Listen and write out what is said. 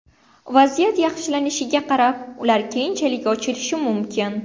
Vaziyat yaxshilanishiga qarab, ular keyinchalik ochilishi mumkin.